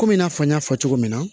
Komi i n'a fɔ n y'a fɔ cogo min na